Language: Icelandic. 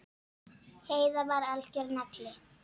Heiða var algjör nagli.